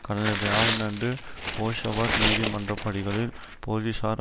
கடந்த வியாழனன்று போஷாவர் நீதிமன்றப்படிகளில் போலீசாரை